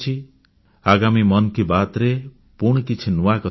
ଆଗାମୀ ମନ୍ କି ବାତ୍ରେ ପୁଣି କିଛି ନୂଆ କଥା କହିବି